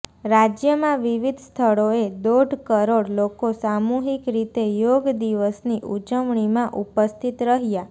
રાજ્યમાં વિવિધ સ્થળોએ દોઢ કરોડ લોકો સામૂહિક રીતે યોગ દિવસની ઉજવણીમાં ઉપસ્થિત રહ્યાં